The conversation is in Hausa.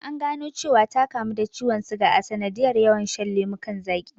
An gano cewa ta kamu da ciwon suga a sanadiyar yawan shan lemukan zaqi